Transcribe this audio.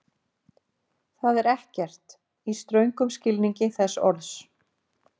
Það er ekkert, í ströngum skilningi þess orðs.